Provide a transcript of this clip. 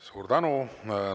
Suur tänu!